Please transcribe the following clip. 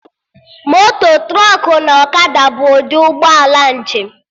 Moto, trọkụ na ọkada bụ ụdị ụgbọ ala njem